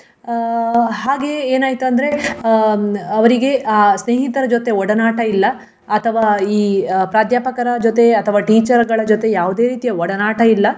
ಅಹ್ ಹಾಗೆ ಏನಾಯ್ತಂದ್ರೆ ಹ್ಮ್ ಅವರಿಗೆ ಆ ಸ್ನೇಹಿತರ ಜೊತೆ ಒಡನಾಟ ಇಲ್ಲ ಅಥವ ಈ ಪ್ರಾದ್ಯಾಪಕರ ಜೊತೆ ಅಥವಾ teacher ಗಳ ಜೊತೆ ಯಾವುದೇ ರೀತಿಯ ಒಡನಾಟ ಇಲ್ಲ.